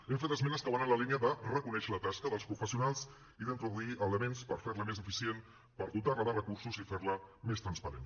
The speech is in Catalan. hem fet esmenes que van en la línia de reconèixer la tasca dels professionals i d’introduir elements per fer la més eficient per dotar la de recursos i fer la més transparent